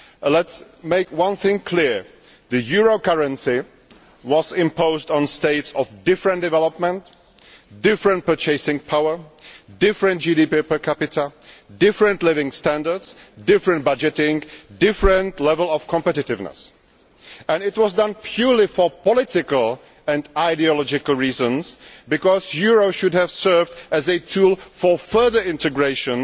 Let us make one thing clear the euro currency was imposed on states of different development, different purchasing power, different GDP per capita, different living standards, different budgeting and different levels of competitiveness. It was done purely for political and ideological reasons because the euro should have served as a tool for further integration,